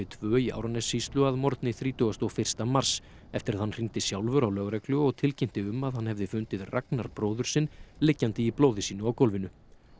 tvö í Árnessýslu að morgni þrítugasta og fyrsta mars eftir að hann hringdi sjálfur á lögreglu og tilkynnti um að hann hefði fundið Ragnar bróður sinn liggjandi í blóði sínu á gólfinu